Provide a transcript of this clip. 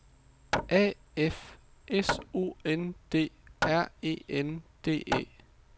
A F S O N D R E N D E